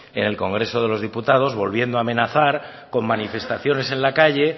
en el congreso de los diputados volviendo a amenazar con manifestaciones en la calle